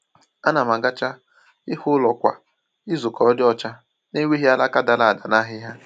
A na m agacha ihu ụlọ kwa izu ka ọ dị ọcha, na-enweghị alaka dara ada na ahịhịa.